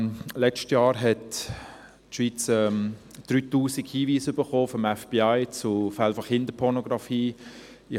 Letztes Jahr hat die Schweiz 3000 Hinweise des Federal Bureau of Investigation (FBI) zu Fällen von Kinderpornografie erhalten.